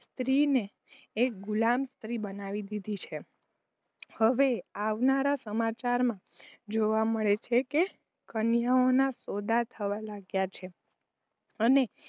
સ્ત્રી ને એક ગુલામ સ્ત્રી બનાવી દીધી. હવે અવારનવાર સમાચાર માં જોવા મળે છે કે, કન્યાઓ ના સોદા થવા લાગ્યા છે.